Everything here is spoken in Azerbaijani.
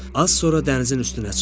Az sonra dənizin üstünə çıxdı.